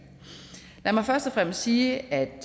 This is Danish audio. lad mig først og fremmest sige at